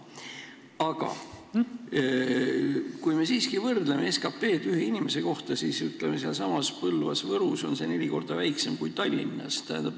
Aga kui me siiski võrdleme SKT-d ühe inimese kohta, siis Põlvas ja Võrus on see neli korda väiksem kui Tallinnas.